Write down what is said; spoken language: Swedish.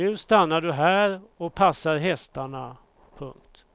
Nu stannar du här och passar hästarna. punkt